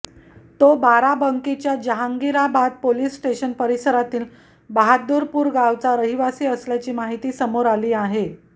तो बाराबंकीच्या Jahangirabad police station परिसरातील बहादूरपूर गावचा रहिवासी असल्याची माहिती समोर आली आहे